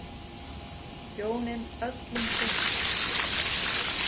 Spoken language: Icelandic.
Hjónin öll um fimmtugt.